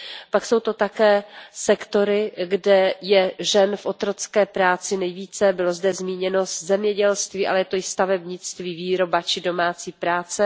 Pak jsou to také sektory, kde je žen v otrocké práci nejvíce, bylo zde zmíněno zemědělství, ale je to i stavebnictví, výroba či domácí práce.